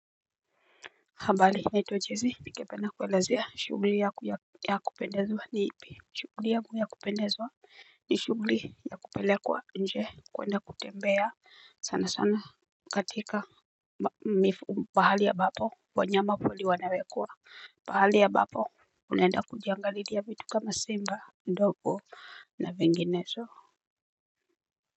Habari naitwa jessy ningependa kuelezea shughuli yangu ya kupendezwa ni ipi. Shughuli yangu ya kupendezwa ni shughuli ya kupelekwa nje kuenda kutembea sana sana katika mifu pahali ya ambapo wanyama pori wanawekwa. Pahali ya ambapo unaenda kujiangalilia vitu kama simba ndovu na vinginezo.